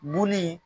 Bul